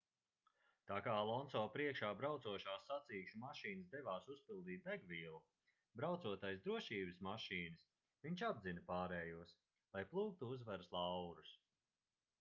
tā kā alonso priekšā braucošās sacīkšu mašīnas devās uzpildīt degvielu braucot aiz drošības mašīnas viņš apdzina pārējos lai plūktu uzvaras laurus